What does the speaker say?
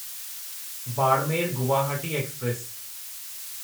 Barmer Guwahati express